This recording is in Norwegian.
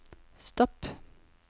stopp